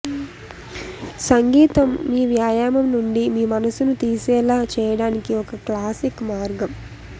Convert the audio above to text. సంగీతం మీ వ్యాయామం నుండి మీ మనసును తీసేలా చేయడానికి ఒక క్లాసిక్ మార్గం